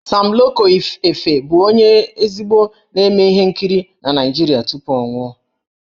Sam Loco Efe bụ ezigbo onye na-eme ihe nkiri na Naịjirịa tupu ọ nwụọ.